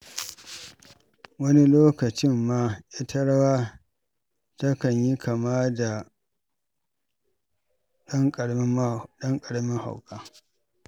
Wani lokacin ma ita rawa takan yi kama da ɗan ƙaramin hauka.